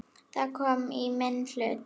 Það kom í minn hlut.